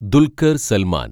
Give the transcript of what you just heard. Dulquer‍ Salman‍